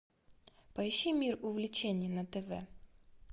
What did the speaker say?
поищи мир увлечений на тв